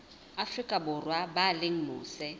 afrika borwa ba leng mose